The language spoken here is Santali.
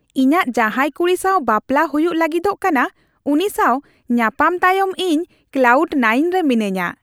ᱤᱧᱟᱹᱜ ᱡᱟᱦᱟᱸᱭ ᱠᱩᱲᱤ ᱥᱟᱣ ᱵᱟᱯᱞᱟ ᱦᱩᱭᱩᱜ ᱞᱟᱹᱜᱤᱫᱚᱜ ᱠᱟᱱᱟ, ᱩᱱᱤ ᱥᱟᱶ ᱧᱟᱯᱟᱢ ᱛᱟᱭᱚᱢ ᱤᱧ ᱠᱞᱟᱣᱩᱰ ᱱᱟᱭᱤᱱ ᱨᱮ ᱢᱤᱱᱟᱹᱧᱟ ᱾